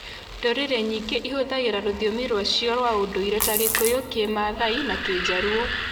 Ndũrĩrĩ nyingĩ nĩ ihũthĩraga rũthiomi rwacio rwa ũndũire ta Gĩkuyu, Kĩmaathai, na Kĩjaruo.